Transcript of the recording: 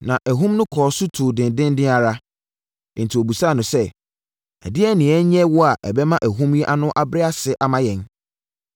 Na ahum no kɔ so tu dendeenden ara. Enti wɔbisaa no sɛ, “Ɛdeɛn na yɛnyɛ wo a ɛbɛma ahum yi ano abrɛ ase ama yɛn?”